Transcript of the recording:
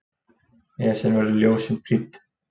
Esjan verður ljósum prýdd